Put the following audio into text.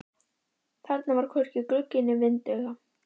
Þarna var hvorki gluggi né vindauga.